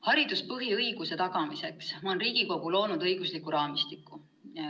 " Hariduse põhiõiguse tagamiseks on Riigikogu loonud õigusliku raamistiku.